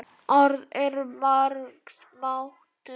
Orð eru margs máttug.